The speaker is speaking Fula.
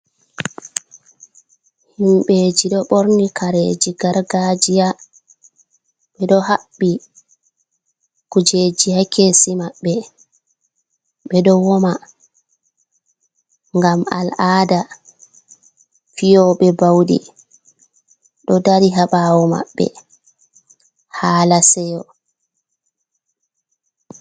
Himɓeji ɗo ɓorni kareji gargajiya, ɓeɗo haɓɓi kujeji hakesi maɓɓe, ɓeɗo woma ngam al'ada fiyoɓe baudi ɗo dari haɓawo maɓɓe, hala seyo.